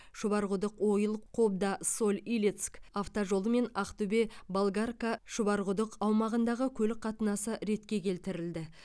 шұбарқұдық ойыл қобда соль илецк автожолы мен ақтөбе болгарка шұбарқұдық аумағындағы көлік қатынасы ретке келтірілді